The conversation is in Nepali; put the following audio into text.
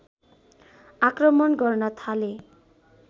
आक्रमण गर्न थाले